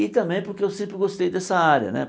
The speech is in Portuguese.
E também porque eu sempre gostei dessa área, né?